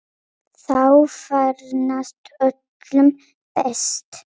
Þá farnast öllum best.